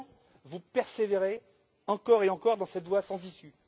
Pourtant, vous persévérez encore et encore dans cette voie sans issue.